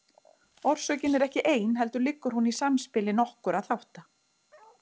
Orsökin er ekki ein heldur liggur hún í samspili nokkurra þátta.